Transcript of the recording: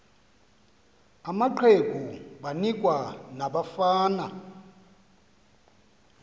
amaqegu banikwa nabafana